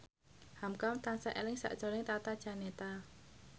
hamka tansah eling sakjroning Tata Janeta